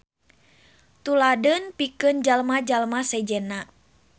Tuladeun pikeun jalma-jalma sejenna.